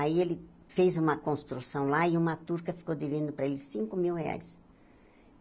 Aí ele fez uma construção lá, e uma turca ficou devendo para ele cinco mil reais.